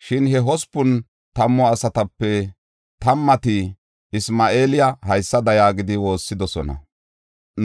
Shin he hospun tammu asatape tammati Isma7eela haysada yaagidi woossidosona: